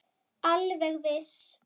Alveg viss.